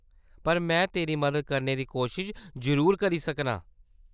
पर में तेरी मदद करने दी कोशश जरूर करी सकनां।